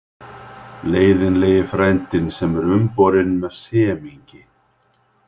Leiðinlegi frændinn sem er umborinn með semingi.